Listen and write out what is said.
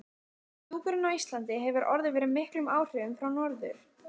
Hjúkrun á Íslandi hefur orðið fyrir miklum áhrifum frá Norður